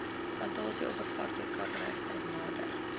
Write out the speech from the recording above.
plantasieoppervlakte kaprypheid nader